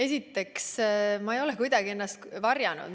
Esiteks, ma ei ole kuidagi ennast varjanud.